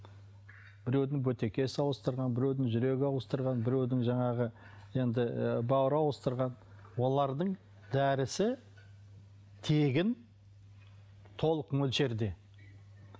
біреудің бөтегесі ауыстырған біреудің жүрегін ауыстырған біреудің жаңағы енді ы бауыры ауыстырған олардың дәрісі тегін толық мөлшерде